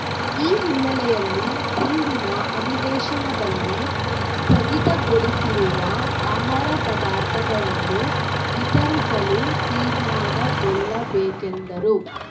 ಈ ಹಿನ್ನೆಲೆಯಲ್ಲಿ ಮುಂದಿನ ಅಧಿವೇಶನದಲ್ಲಿ ಸ್ಥಗಿತಗೊಳಿಸಿರುವ ಆಹಾರ ಪದಾರ್ಥಗಳನ್ನು ವಿತರಿಸಲು ತೀರ್ಮಾನಗೊಳ್ಳಬೇಕೆಂದರು